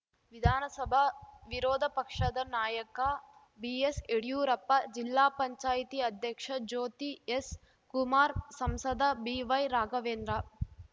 ವಿಧಾನಸಭಾ ವಿರೋಧ ಪಕ್ಷದ ನಾಯಕ ಬಿಎಸ್‌ ಯಡಿಯೂರಪ್ಪ ಜಿಲ್ಲಾ ಪಂಚಾಯತ್ ಅಧ್ಯಕ್ಷ ಜ್ಯೋತಿ ಎಸ್‌ ಕುಮಾರ್‌ ಸಂಸದ ಬಿವೈರಾಘವೇಂದ್ರ